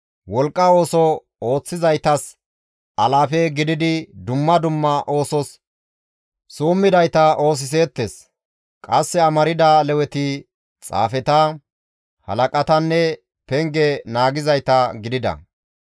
wolqqa ooso ooththizaytas alaafe gididi dumma dumma oosos summidayta oosiseettes; qasse amarda Leweti xaafeta, halaqatanne penge naagizayta gidida.